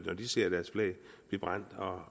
når de ser deres flag bliver brændt og